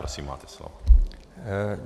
Prosím, máte slovo.